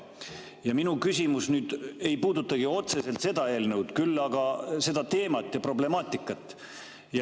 Ja minu küsimus ei puudutagi otseselt seda eelnõu, küll aga seda teemat ja problemaatikat.